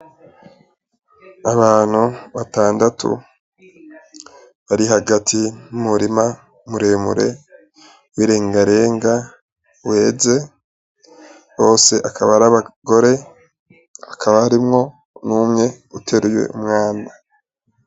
Abantu batandatu bari hagati y'umurima muremure w'irengarenga weze, bose bakaba ari abagore, hakaba harimwo umwe ateruye umwana.